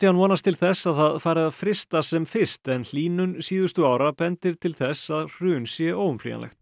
vonast til þess að það fari að frysta sem fyrst en hlýnun síðustu ára bendir til þess að hrun sé óumflýjanlegt